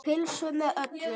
Pulsu með öllu.